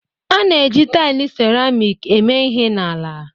A na-eji taịlị seramiiki eme ihe n'ala